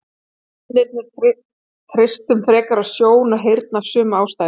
Við mennirnir treystum frekar á sjón og heyrn af sömu ástæðu.